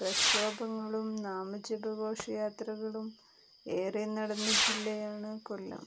പ്രക്ഷോഭങ്ങളും നാമജപ ഘോഷയാത്രകളും ഏറെ നടന്ന ജില്ലയാണ് കൊല്ലം